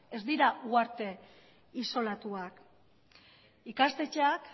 ez dira uharte isolatuak ikastetxeak